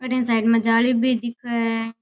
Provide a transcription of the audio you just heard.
अठीन साइड में जाली भी दिखे है।